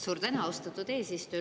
Suur tänu, austatud eesistuja!